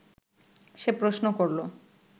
সে প্রশ্ন করল